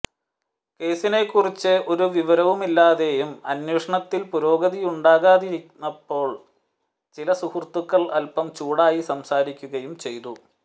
കേസിനെക്കുറിച്ച് ഒരു വിവരുവുമില്ലാതെയും അന്വേഷണത്തിൽ പുരോഗതിയുണ്ടാതകാതിരുന്നപ്പോൾ ചില സുഹൃത്തുക്കൾ അൽപ്പം ചൂടായി സംസാരിക്കുകയും ചെയ്തു